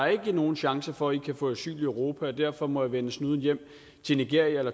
er nogen chance for at få asyl i europa og derfor må de vende snuden hjem til nigeria